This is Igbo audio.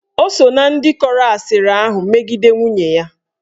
Ọ so ná ndị kọrọ asịrị ahụ megide nwunye ya.